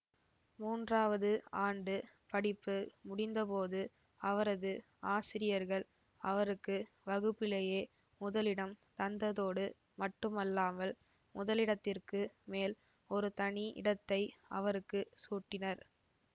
மூன்றாவது ஆண்டு படிப்பு முடிந்தபோது அவரது ஆசிரியர்கள் அவருக்கு வகுப்பிலேயே முதலிடம் தந்ததோடு மட்டுமல்லாமல் முதலிடத்திற்கு மேல் ஒரு தனி இடத்தை அவருக்கு சூட்டினர்